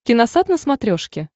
киносат на смотрешке